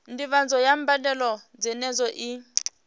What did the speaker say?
ndivhadzo ya mbadelo dzenedzo i